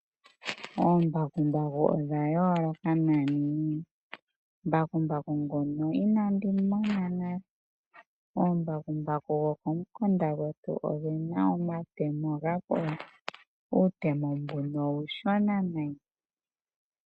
Ombakumbaku odha yoloka nani, mbakumbaku nguno inandimona nale, ombakumbaku dho komukunda ngwetu odhina omatemo omanene uutemo mbuno ushona nayi.